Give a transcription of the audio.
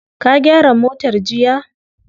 Ka gyara motar jiya?